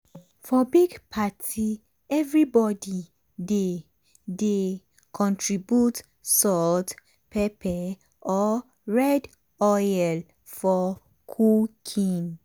for big party everybody dey dey contribute salt pepper or red oil for cooking.